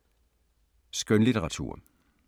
Skønlitteratur